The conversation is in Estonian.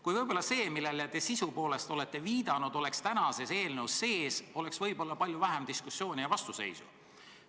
Kui võib-olla see, millele te sisu poolest olete viidanud, oleks tänases eelnõus sees, oleks võib-olla palju vähem diskussiooni ja vastuseisu.